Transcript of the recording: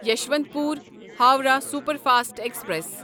یسوانت پور Howrah superfast express